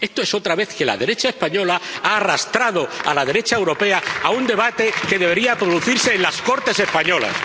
Esto es otra vez que la derecha española ha arrastrado a la derecha europea a un debate que debería producirse en las Cortes españolas.